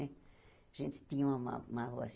Mé a gente tinha uma uma